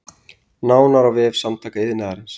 Nánar á vef Samtaka iðnaðarins